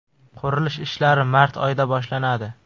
Qurilish ishlari mart oyida boshlanadi.